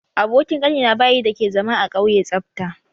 Abokin Kanina bayi dake zama a kauye tsafta.